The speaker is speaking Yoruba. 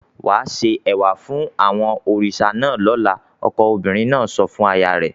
"Wà á se ẹ̀wà fún àwọn òrìṣà náà lọ́la!" Ọkọ obìnrin náà sọ fún aya rẹ̀.